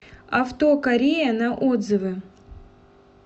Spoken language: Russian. авто корея на отзывы